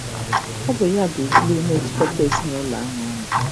Ọ bụ ya bụ gluu na-ejikọta ezinụlọ anyị ọnụ.